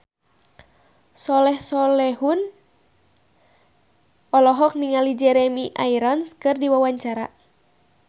Soleh Solihun olohok ningali Jeremy Irons keur diwawancara